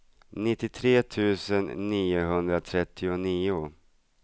nittiotre tusen niohundratrettionio